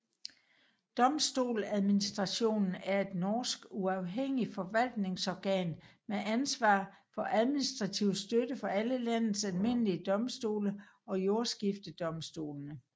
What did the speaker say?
Domstoladministrationen er et norsk uafhængig forvaltningsorgan med ansvar for administrativ støtte for alle landets almindelige domstole samt jordskiftedomstolene